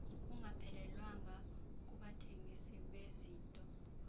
kungaphelelwanga kubathengisi bezinto